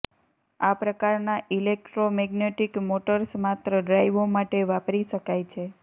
આ પ્રકારના electromagnetic motors માત્ર ડ્રાઈવો માટે વાપરી શકાય છે